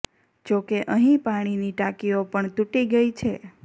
જો કે અહીં પાણીની ટાંકીઓ પણ તૂટી ગઈ છે